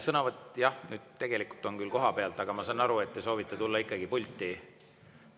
Sõnavõtt, jah, tegelikult on küll koha pealt, aga ma saan aru, et te soovite tulla ikkagi pulti.